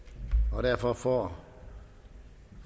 og derfor får